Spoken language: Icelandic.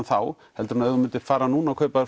þá en ef þú myndir fara núna að kaupa